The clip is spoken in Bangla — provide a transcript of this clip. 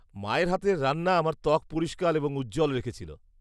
-মায়ের হাতের রান্না আমার ত্বক পরিষ্কার এবং উজ্জ্বল রেখেছিল।